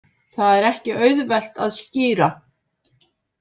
Það er ekki auðvelt að skýra.